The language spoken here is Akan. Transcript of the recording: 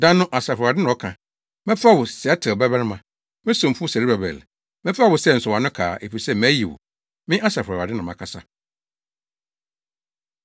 “ ‘Da no’ Asafo Awurade na ɔka, ‘Mɛfa wo, Sealtiel babarima, me somfo Serubabel, mɛfa wo sɛ nsɔwano kaa, efisɛ mayi wo.’ Me Asafo Awurade, na makasa.”